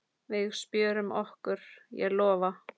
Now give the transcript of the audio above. Við spjörum okkur, ég lofa.